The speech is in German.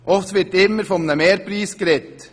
Es wird immer von einem Mehrpreis gesprochen.